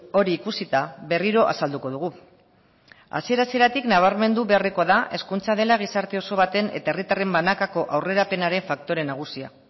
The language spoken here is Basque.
hori ikusita berriro azalduko dugu hasiera hasieratik nabarmendu beharrekoa da hezkuntza dela gizarte oso baten eta herritarren banakako aurrerapenaren faktore nagusia